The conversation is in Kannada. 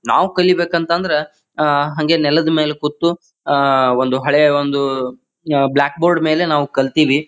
ನಾವು ಕಲಿಯಬೇಕು ಅಂತಂದ್ರ ಅಅ ಹಂಗೆ ನೆಲದ್ ಮೇಲೆ ಕೂತು ಆಹ್ಹ್ ಆ ಒಂದು ಹಳೆಯ ಒಂದು ಬ್ಲಾಕ್ ಬೋರ್ಡ್ ಮೇಲೆ ನಾವ್ ಕಲ್ತೀವಿ.